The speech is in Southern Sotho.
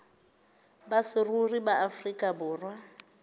ba saruri ba afrika borwa